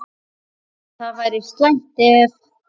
Það væri slæmt, ef